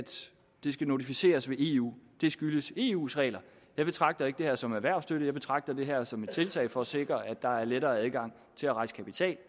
det skal notificeres ved eu skyldes eus regler jeg betragter ikke det her som erhvervsstøtte jeg betragter det her som et tiltag for at sikre at der er lettere adgang til at rejse kapital